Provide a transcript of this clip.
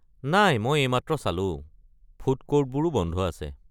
নাই মই এইমাত্ৰ চালো, ফুড ক'ৰ্টবোৰো বন্ধ আছে।